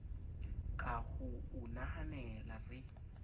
ka ho o nahanela re